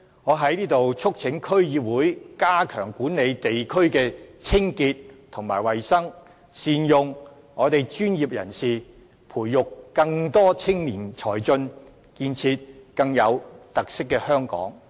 我在這裏促請區議會加強管理地區的清潔及衞生，善用專業人士，培育更多青年才俊，建設更有特色的香港。